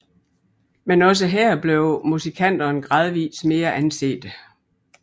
Men også her blev musikanterne gradvist mere ansete